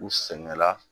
U sɛgɛnna